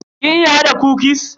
Kin iya hada kukis?